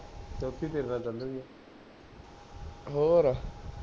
ਹੋਰ